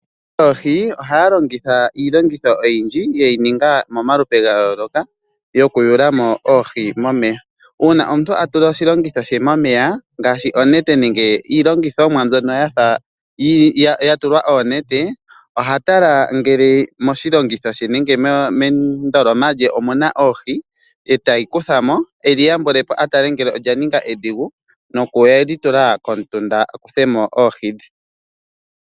Aakwati yoohi ohaya longitha iilongitho oyindji ya longwa momalupe ga yooloka okuyula mo oohi momeya. Uuna omuntu a tula mo oshilongitho she momeya ngaashi iilongithomwa mbyono yafa yatulwa oonete oheshi yawula momeya uuna a mono shaga sha ninga oshidhigu ete shitula komutunda a kuthe mo oohi.